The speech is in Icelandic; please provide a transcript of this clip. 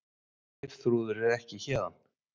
Geirþrúður er ekki héðan.